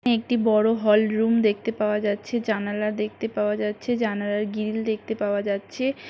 একটি বড় hall room দেখতে পাওয়া যাচ্ছে। জানালা দেখতে পাওয়া যাচ্ছে। জানালার গ্রিল দেখতে পাওয়া যাচ্ছে।